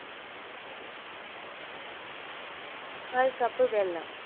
മുക്കാൽ cup വെള്ളം